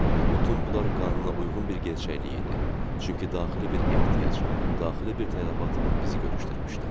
Və bütün bunlar qanuna uyğun bir gerçəklik idi, çünki daxili bir ehtiyac, daxili bir tələbat bizi görüşdürmüşdü.